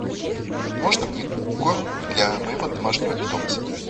можно мне корм для моего домашнего питомца